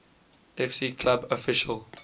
fc club official